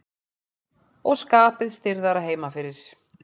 Og skapið stirðara heima fyrir.